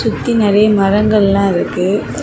சுத்தி நெறைய மரங்கள்லா இருக்கு.